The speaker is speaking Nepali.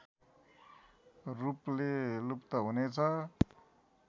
रूपले लुप्त हुनेछ